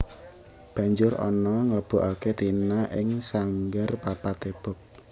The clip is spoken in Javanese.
Banjur Ana nglebokaké Tina ing sanggar Papa T Bob